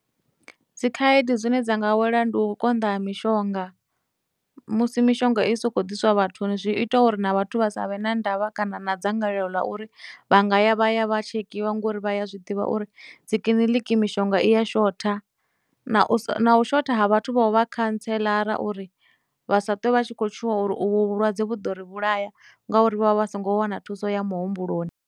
Dzikhaedu dzine dza nga wela ndi u konḓa ha mishonga, musi mishonga i so khou diswa vhathuni zwi ita uri na vhathu vha savhe na ndavha kana na dzangalelo ḽa uri vha nga ya vha ya vha tshekiwa ngori vhaya zwiḓivha vha uri dzikiḽiniki mishonga i ya shotha, na u sa, na u shotha ha vhathu vho vha khantseḽara uri vha sa twe vha tshi khou tshuwa uri u vhu vhulwadze vhu ḓo ri vhulaya ngauri vha vha vha songo wana thuso ya muhumbuloni.